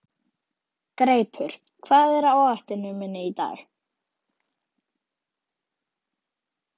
Greipur, hvað er á áætluninni minni í dag?